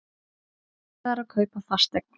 Erfiðara að kaupa fasteign